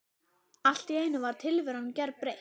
Allt í einu var tilveran gerbreytt.